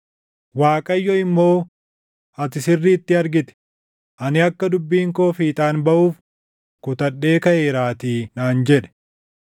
Waaqayyo immoo, “Ati sirriitti argite; ani akka dubbiin koo fiixaan baʼuuf kutadhee kaʼeeraatii” naan jedhe.